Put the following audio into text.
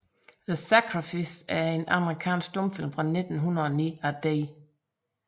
The Sacrifice er en amerikansk stumfilm fra 1909 af D